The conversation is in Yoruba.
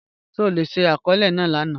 Ṣe o le ṣi akọọlẹ naa lana?